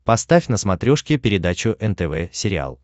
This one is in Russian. поставь на смотрешке передачу нтв сериал